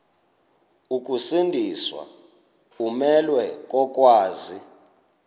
ukusindiswa umelwe kokwazi